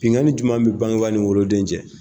Binganin jumɛn bɛ bangeba ni woro den cɛ.